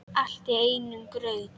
Allt í einum graut.